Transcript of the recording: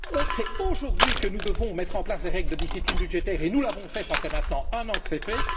C'est aujourd'hui que nous devons mettre en place des règles de discipline budgétaire et cela fait maintenant un an que c'est fait.